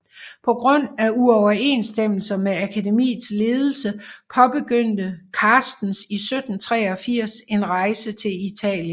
På grund af uoverensstemmelser med akademiets ledelse påbegyndte Carstens 1783 en rejse til Italien